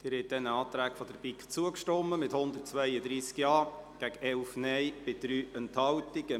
Sie haben dem Antrag der BiK zugestimmt, mit 132 Ja-, 11 Nein-Stimmen bei 3 Enthaltungen.